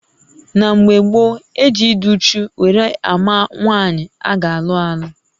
Na mgbè gboo, e ji ịdị úchú wéré àmà nwaanyị ágá alụ-alụ